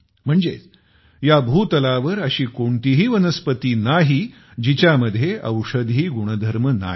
म्हणजे या भूतलावर अशी कोणतीही वनस्पती नाही जिच्यामध्ये औषधी गुणधर्म नाही